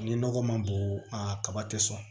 Ni nɔgɔ ma bon a kaba tɛ sɔn